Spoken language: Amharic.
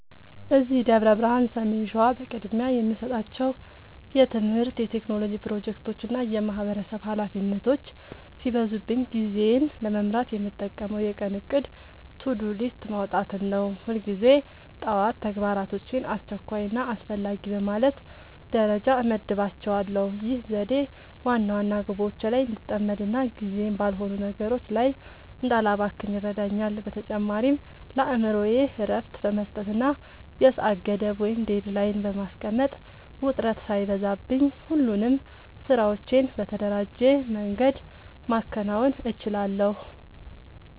እዚህ ደብረ ብርሃን (ሰሜን ሸዋ) በቅድሚያ የምሰጣቸው የትምህርት፣ የቴክኖሎጂ ፕሮጀክቶችና የማህበረሰብ ኃላፊነቶች ሲበዙብኝ ጊዜዬን ለመምራት የምጠቀመው የቀን እቅድ (To-Do List) ማውጣትን ነው። ሁልጊዜ ጠዋት ተግባራቶቼን አስቸኳይና አስፈላጊ በማለት ደረጃ እመድባቸዋለሁ። ይህ ዘዴ ዋና ዋና ግቦቼ ላይ እንድጠመድና ጊዜዬን ባልሆኑ ነገሮች ላይ እንዳላባክን ይረዳኛል። በተጨማሪም ለአእምሮዬ እረፍት በመስጠትና የሰዓት ገደብ (Deadline) በማስቀመጥ፣ ውጥረት ሳይበዛብኝ ሁሉንም ስራዎቼን በተደራጀ መንገድ ማከናወን እችላለሁ።